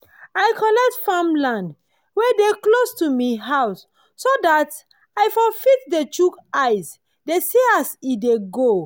i collect farmland wen dey close to mi house so dat i for fit dey chook eye dey see as e dey go